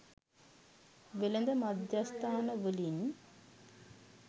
වෙළඳ මධ්‍යස්ථාන වලින්